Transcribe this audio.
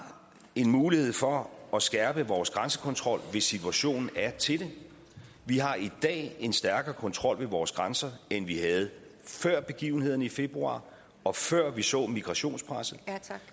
en mulighed for at skærpe vores grænsekontrol hvis situationen er til det vi har i dag en stærkere kontrol ved vores grænser end vi havde før begivenhederne i februar og før vi så migrationspresset